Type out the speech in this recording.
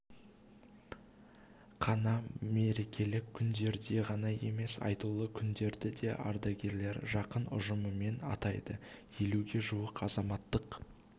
қана мерекелік күндерде ғана емес айтулы күндерді де ардагерлер жақын ұжымымен атайды елуге жуық азаматтық